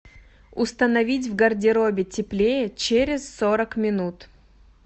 установить в гардеробе теплее через сорок минут